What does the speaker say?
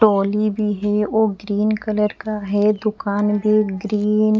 टोली भी है और ग्रीन कलर का है दुकान भी ग्रीन --